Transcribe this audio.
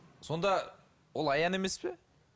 сонда ол аян емес пе